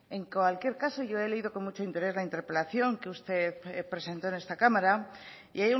en cualquier caso yo he leído con mucho interés la interpelación que usted presentó en esta cámara y